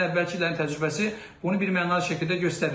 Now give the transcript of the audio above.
Yəni əvvəlki illərin təcrübəsi bunu birmənalı şəkildə göstərir.